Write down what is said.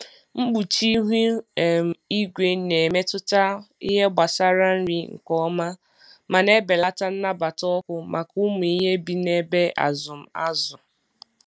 Mkpuchi ihu um igwe na-emetụta ihe gbasara nri nke ọma ma na-ebelata nnabata ọkụ maka ụmụ ihe bi n’ebe azụm azụ.